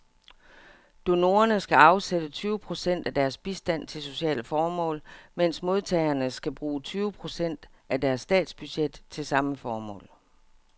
Donorerne skal afsætte tyve procent af deres bistand til sociale formål, mens modtagerne skal bruge tyve procent af deres statsbudget til samme formål.